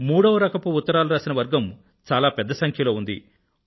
మూడవ రకపు ఉత్తరాల రచయితల వర్గం చాలా పెద్ద సంఖ్యలో ఉంది